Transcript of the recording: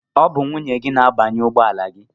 Ọ bụ nwunye gị na-agbanye ugbọala gị.